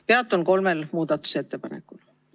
Peatun kolmel muudatusettepanekul.